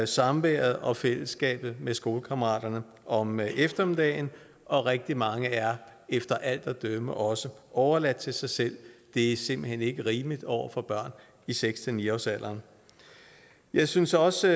samværet og fællesskabet med skolekammeraterne om eftermiddagen og rigtig mange er efter alt at dømme også overladt til sig selv det er simpelt hen ikke rimeligt over for børn i seks ni årsalderen jeg synes også